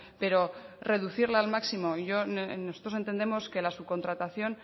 pero reducirlo al máximo y nosotros entendemos que la subcontratación